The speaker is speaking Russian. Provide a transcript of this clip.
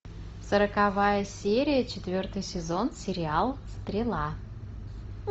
сороковая серия четвертый сезон сериал стрела